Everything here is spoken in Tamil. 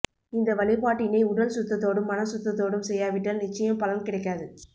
இந்த வழிபாட்டினை உடல் சுத்ததோடும் மனசுத்தத்தோடும் செய்யாவிட்டால் நிச்சயம் பலன் கிடைக்காது